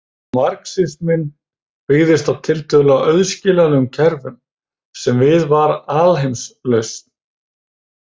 Marxisminn byggðist á tiltölulega auðskiljanlegum kerfum sem við var alheimslausn.